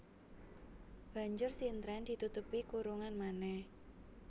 Banjur sintren ditutupi kurungan manèh